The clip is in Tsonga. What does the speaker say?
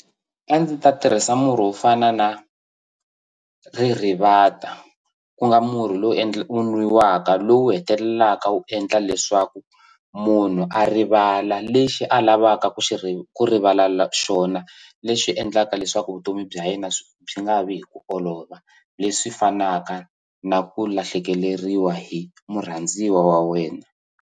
A ndzi ta tirhisa murhi wo fana na ririvata ku nga murhi lowu wu nwiwaka lowu hetelelaka wu endla leswaku munhu a rivala lexi a lavaka ku xi ku rivala la xona leswi endlaka leswaku vutomi bya yena byi nga vi hi ku olova leswi fanaka na ku lahlekeleriwa hi murhandziwa wa wena.